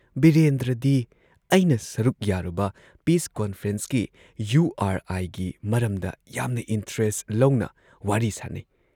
ꯕꯤꯔꯦꯟꯗ꯭ꯔꯗꯤ ꯑꯩꯅ ꯁꯔꯨꯛ ꯌꯥꯔꯨꯕ ꯄꯤꯁ ꯀꯣꯟꯐ꯭ꯔꯦꯟꯁꯀꯤ, ꯌꯨ ꯑꯥꯔ ꯑꯥꯏꯒꯤ ꯃꯔꯝꯗ ꯌꯥꯝꯅ ꯏꯟꯇꯔꯦꯁꯠ ꯂꯧꯅ ꯋꯥꯔꯤ ꯁꯥꯟꯅꯩ ꯫